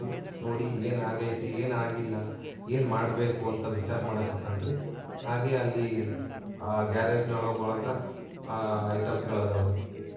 ನೋಡಿ ಏನಾಗಯ್ತಿ ಏನಾಗಿಲ್ಲ ಏನ್ ಮಾಡಬೇಕು ಅಂತ ವಿಚಾರ ಮಾಡಕತಾನ್ರಿ ಹಾಗೆ ಎಲ್ಲಿ ಗ್ಯಾರೇಜ್ ನ ಒಳಗ ಆಹ್ಹ್ ಐಟಮ್ಸ್ ಗಳ್ ಅದಾವ್ರಿ--